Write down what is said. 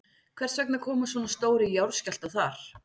Hvers vegna koma svona stórir jarðskjálftar þar?